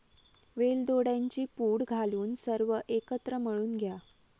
वेलदोड्यांची पूड घालून सर्व एकत्र मळून घ्या.